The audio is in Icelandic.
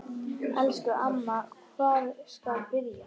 Elsku amma, hvar skal byrja?